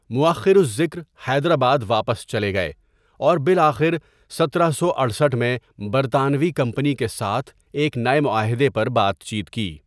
مؤخر الذکر حیدرآباد واپس چلے گئے اور بالآخر ستارہ سو اٹھسٹھ میں برطانوی کمپنی کے ساتھ ایک نئے معاہدے پر بات چیت کی۔